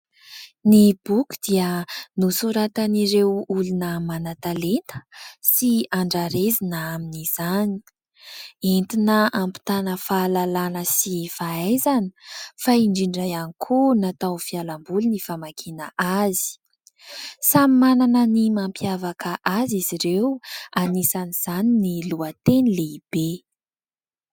ny boky dia nosoratan'ireo olona manan-talenta sy andrarezina amin'izany entina ampitana fahalalàna sy fahaizana fa indrindra ihany koa natao fialamboly ny famakiana azy samy manana ny mampiavaka azy izy ireo anisan'izany ny lohateny lehibe